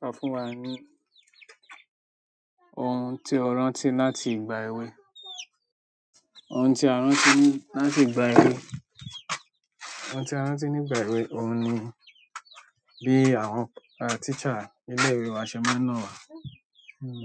Sọ fún wa ní ohun tó rántí láti ìgbà èwe. Ohun tí a rántí nígbà èwe oun ni bí àwọn teacher ilé ìwé wa ṣe máa ná wà nínú,